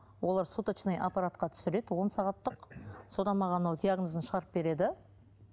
олар суточный аппаратқа түсіреді он сағаттық содан маған ол диагнозын шығарып береді